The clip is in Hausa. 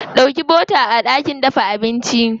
Ɗauko bota a ɗakin dafa abinci.